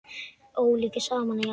Ólíku saman að jafna.